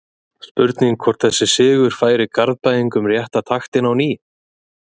Spurning hvort þessi sigur færi Garðbæingum rétta taktinn á ný?